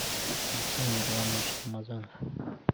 максим мирланович рамазанов